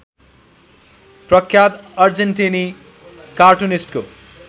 प्रख्यात अर्जेन्टिनी कार्टुनिस्टको